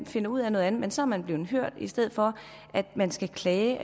finder ud af noget andet men så er man blevet hørt i stedet for at man skal klage